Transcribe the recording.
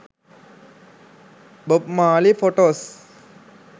bob marliy potos